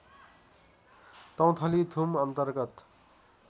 तौथली थुम अन्तर्गत